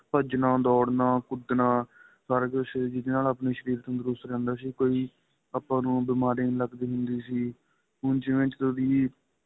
ਭੱਜਣਾ ਦੋੜਨਾ ਕੁੱਦਣਾ ਪਰ ਜੇ ਸ਼ਰੀਰ ਜਿਹਦੇ ਨਾਲ ਆਪਣਾ ਸ਼ਰੀਰ ਤੰਦਰੁਸਤ ਰਹਿੰਦਾ ਸੀ ਕੋਈ ਆਪਾ ਨੂੰ ਬੀਮਾਰੀ ਨਹੀਂ ਲੱਗਦੀ ਹੁੰਦੀ ਸੀ ਹੁਣ ਜਿਵੇਂ ਜਦੋ ਦੀ